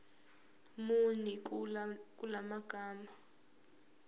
muni kula magama